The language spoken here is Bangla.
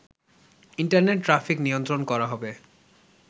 ইন্টারনেট ট্রাফিক নিয়ন্ত্রণ করা হবে